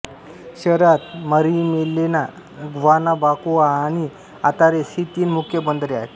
शहरात Marimelena Guanabacoa आणि Atares ही तीन मुख्य बंदरे आहेत